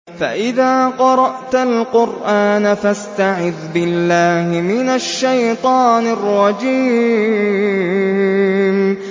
فَإِذَا قَرَأْتَ الْقُرْآنَ فَاسْتَعِذْ بِاللَّهِ مِنَ الشَّيْطَانِ الرَّجِيمِ